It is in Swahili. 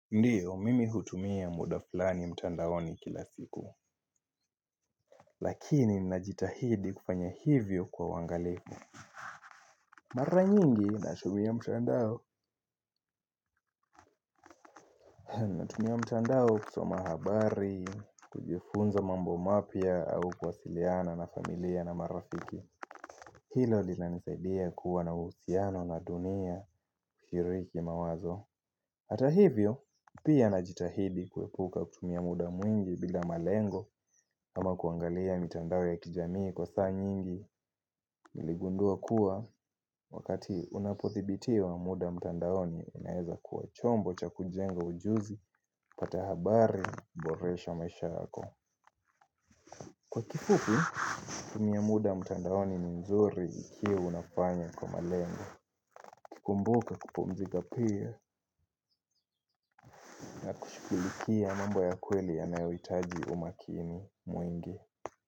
Ndiyo mimi hutumia muda fulani mtandao ni kila siku Lakini ninajitahidi kufanya hivyo kwa uangalifu Mara nyingi nashubia mtandao Natumia mtandao kusoma habari, kujifunza mambo mapya au kwasiliana na familia na marafiki Hilo lilanisaidia kuwa na uhusiano na dunia kushiriki mawazo Hata hivyo, pia na jitahidi kuepuka kutumia muda mwingi bila malengo ama kuangalia mitandao ya kijamii kwa saa nyingi niligundua kuwa wakati unapothibitiwa muda mtandaoni inaeza kuwa chombo cha kujenga ujuzi, patahabari, boresha maisha yako. Kwa kifupi, kutumia muda mtandaoni ni mzuri ikiwa unafanya kwa malengo uKikumbuka kupumzika pia na kushukilikia mambo ya kweli ya nayoitaji umakini mwingi.